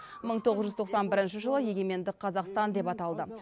мың тоғыз жүз тоқсан бірінші жылы егеменді қазақстан деп аталды